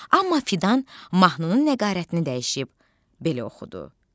Amma Fidan mahnının nəqarətini dəyişib belə oxudu: